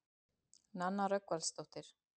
Nanna Rögnvaldardóttir.